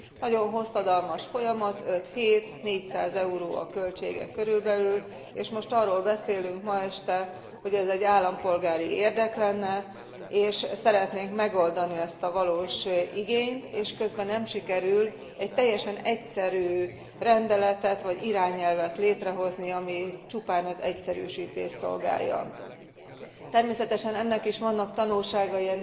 Nagyon hosszadalmas folyamat, 5 hét, 400 euró a költsége körülbelül, és most arról beszélünk ma este, hogy ez egy állampolgári érdek lenne, és szeretnénk megoldani ezt a valós igényt, és közben nem sikerül egy teljesen egyszerű rendeletet vagy irányelvet létrehozni, ami csupán az egyszerűsítést szolgálja. Természetesen ennek a folyamatnak is vannak tanulságai,